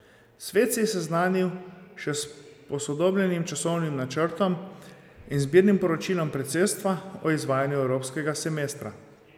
Svet se je seznanil še s posodobljenim časovnim načrtom in z zbirnim poročilom predsedstva o izvajanju evropskega semestra.